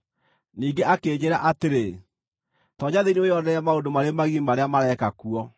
Ningĩ akĩnjĩĩra atĩrĩ, “Toonya thĩinĩ wĩonere maũndũ marĩ magigi marĩa mareka kuo.”